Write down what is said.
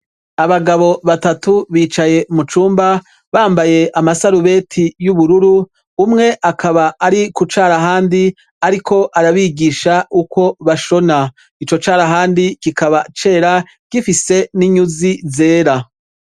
Abagabo batatu bicaye mu cumba bambaye amasarubete y'ubururu, umwe akaba ari ku carahandi ariko arabigisha uko bashona. Ico carahandi kikaba cera, gifise n'inyuzi zera.